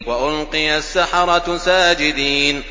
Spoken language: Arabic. وَأُلْقِيَ السَّحَرَةُ سَاجِدِينَ